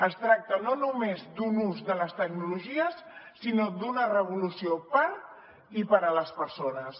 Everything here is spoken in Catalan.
es tracta no només d’un ús de les tecnologies sinó d’una revolució per i per a les persones